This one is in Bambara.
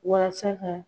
Walasa ka